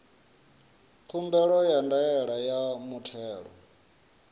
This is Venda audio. khumbelo ya ndaela ya muthelo